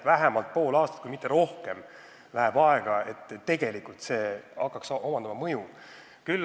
Vähemalt pool aastat, kui mitte rohkem läheb aega, enne kui see muudatus hakkab mõjuma.